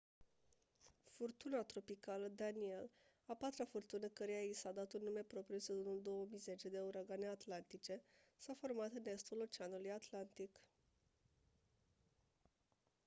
furtuna tropicală danielle a patra furtună căreia i s-a dat un nume propriu în sezonul 2010 de uragane atlantice s-a format în estul oceanului atlantic